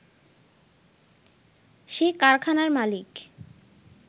সে কারখানার মালিক